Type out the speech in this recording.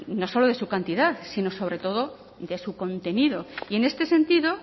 no solo de su cantidad sino sobre todo de su contenido y en este sentido